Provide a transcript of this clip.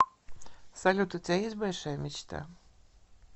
салют у тебя есть большая мечта